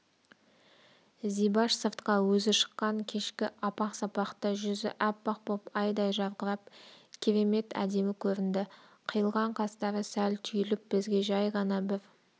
зибаш сыртқа өзі шыққан кешкі апақ-сапақта жүзі аппақ боп айдай жарқырап керемет әдемі көрінді қиылған қастары сәл түйіліп бізге жай ғана бір